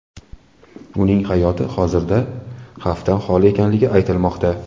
Uning hayoti hozirda xavfdan holi ekanligi aytilmoqda.